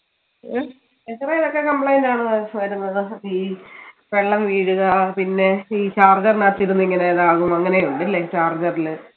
ഹും എത്രായൊക്കെ complaint ആണ് വരുന്നത് ഈ വെള്ളം വീഴുക പിന്നെ ഈ charger നാത്തിരുന്ന് ഇങ്ങനെ ഇതാകും അങ്ങനെ ഒന്നൂല്ലേൽ charger ല്